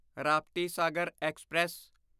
Raptisagar express